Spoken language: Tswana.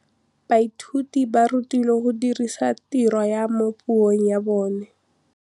Baithuti ba rutilwe go dirisa tirwa mo puong ya bone.